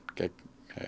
gegn